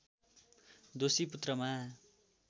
दोषी पुत्रमा